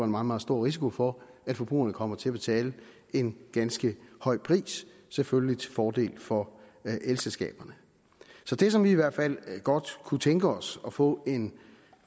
meget meget stor risiko for at forbrugerne kommer til at betale en ganske høj pris selvfølgelig til fordel for elselskaberne så det som vi i hvert fald godt kunne tænke os at få en